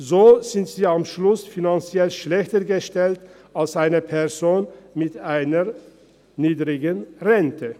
So sind sie am Schluss finanziell schlechter gestellt als eine Person mit einer niedrigeren Rente.